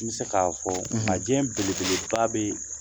I bi se k'a fɔ majɛ, belebeleba bɛ yen